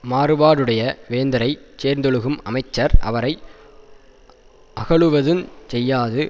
மாறுபாடுடைய வேந்தரைச் சேர்ந்தொழுகும் அமைச்சர் அவரை அகலுவதுஞ் செய்யாது